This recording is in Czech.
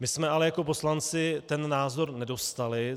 My jsme ale jako poslanci ten názor nedostali.